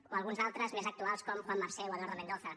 o alguns d’altres més actuals com juan marsé o eduardo mendoza